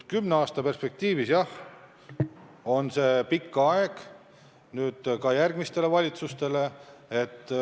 Kümne aasta perspektiiv on jah pikk aeg, see tähendab ka järgmisi valitsusi.